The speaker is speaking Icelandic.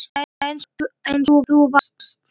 Svona eins og þú varst.